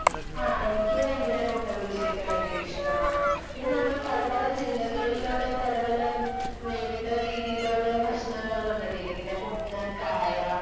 ആ എനിക്ക് ഭയങ്കര മുട്ട ബജിയൊക്കെ ഭയങ്കര ഇഷ്ടമാണ്. പിന്നെ നമ്മള് പല പല ജില്ലകളിലുള്ള പലപല വേറിട്ട രീതിയിലുള്ള ഭക്ഷണങ്ങൾ കണ്ടിട്ടില്ലേ ഇങ്ങനെ ഉന്നക്കായ,